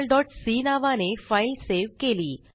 relationalसी नावाने file save केली